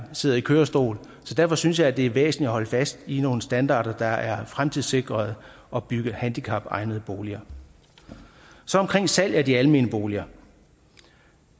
sidder i kørestol derfor synes jeg det er væsentligt at holde fast i nogle standarder der er fremtidssikrede og bygge handicapegnede boliger så omkring salg af de almene boliger